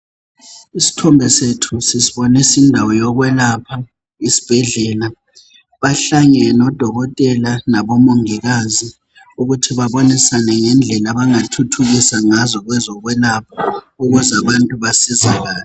Isithombe sethu sisibonisa indawo yokwelapha, yisibhedlela. Bahlangene odokotela nabomongikazi, ukuthi babonisane ngendlela abangathuthukisa ngazo kwezokwelapha, ukuze kwande ubasizakala.